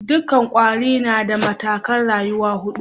Dukan kwari na da matakai'n rayuwa hudu.